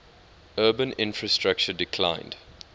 urban infrastructure declined